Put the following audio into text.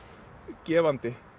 gefandi